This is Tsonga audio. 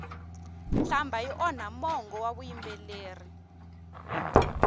nhlambha yi onha mongo wa vuyimbeleri